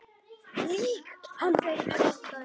Lýg hann fullan